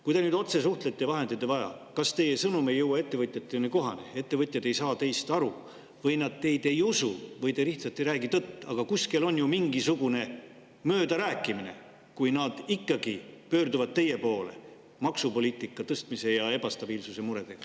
Kui te nüüd otse suhtlete ja vahendajat ei vaja, kas teie sõnum ei jõua ettevõtjatele kohale, ettevõtjad ei saa teist aru, nad ei usu teid või te lihtsalt ei räägi tõtt, aga kuskil on ju mingisugune möödarääkimine, kui nad ikkagi pöörduvad teie poole maksupoliitika tõstmise ja ebastabiilsuse muredega.